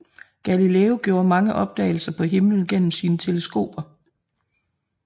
Galileo gjorde mange opdagelser på himlen gennem sine teleskoper